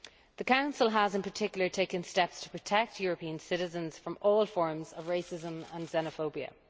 The Council has in particular taken steps to protect European citizens from all forms of racism and xenophobia.